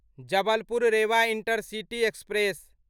Jabalpur Rewa intercity express